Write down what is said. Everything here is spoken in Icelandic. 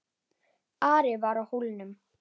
Ari var á Hólum.